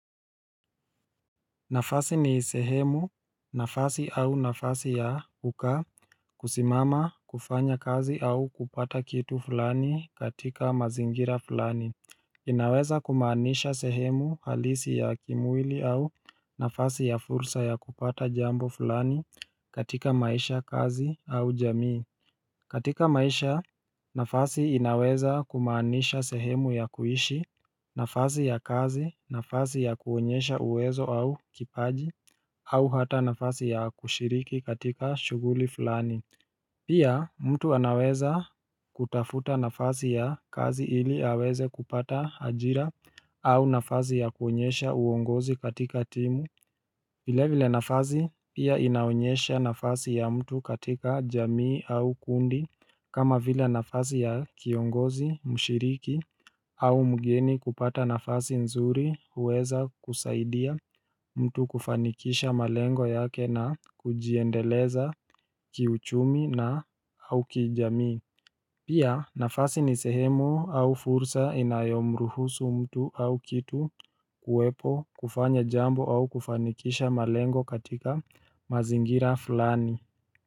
Nafasi ni sehemu, nafasi au nafasi ya kukaa, kusimama, kufanya kazi au kupata kitu fulani katika mazingira fulani inaweza kumaanisha sehemu halisi ya kimwili au nafasi ya fursa ya kupata jambo fulani katika maisha kazi au jamii katika maisha, nafasi inaweza kumaanisha sehemu ya kuishi, nafasi ya kazi, nafasi ya kuonyesha uwezo au kipaji, au hata nafasi ya kushiriki katika shughuli fulani. Pia, mtu anaweza kutafuta nafasi ya kazi ili aweze kupata ajira au nafasi ya kuonyesha uongozi katika timu. Vile vile nafasi pia inaonyesha nafasi ya mtu katika jamii au kundi kama vile nafasi ya kiongozi, mshiriki au mgeni kupata nafasi nzuri huweza kusaidia mtu kufanikisha malengo yake na kujiendeleza kiuchumi na au kijamii Pia nafasi ni sehemu au fursa inayomruhusu mtu au kitu kuwepo kufanya jambo au kufanikisha malengo katika mazingira fulani.